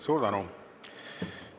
Suur tänu!